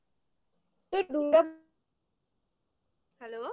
hello